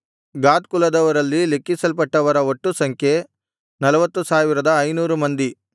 ಗಾದ್ ಕುಲದವರಲ್ಲಿ ಲೆಕ್ಕಿಸಲ್ಪಟ್ಟವರ ಒಟ್ಟು ಸಂಖ್ಯೆ 40500 ಮಂದಿ